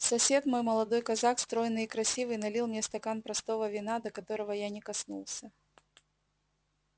сосед мой молодой казак стройный и красивый налил мне стакан простого вина до которого я не коснулся